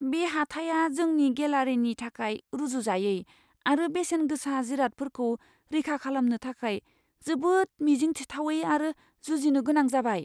बे हाथाया जोंनि गेलारिनि थाखाय रुजुजायै आरो बेसेन गोसा जिरादफोरखौ रैखा खालामनो थाखाय जोबोद मिजिं थिथावै आरो जुजिनो गोनां जाबाय।